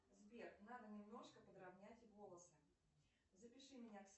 сбер надо немножко подровнять волосы запиши меня к